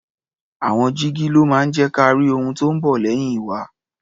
Àwọn jígí ló máa ń jẹ́ ka rí ohun tó ń bọ̀ lẹ́yìn wa.